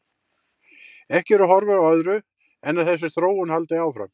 Ekki eru horfur á öðru en að þessi þróun haldi áfram.